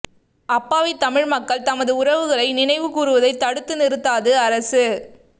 அப்பாவித் தமிழ் மக்கள் தமது உறவுகளை நினைவு கூருவதைத் தடுத்து நிறுத்தாது அரசு